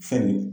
Fɛn